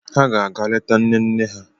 Ha ga-aga leta nne nne ha.